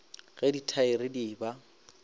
ge ditaere di e ba